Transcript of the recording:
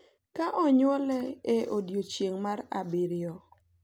ka onywol ​​e odiechieng’ mar abiriyo,